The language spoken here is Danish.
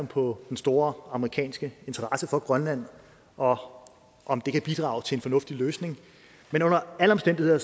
på den store amerikanske interesse for grønland og om det kan bidrage til en fornuftig løsning men under alle omstændigheder